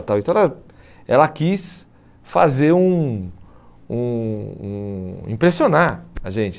Então ela ela quis fazer um um um... Impressionar a gente.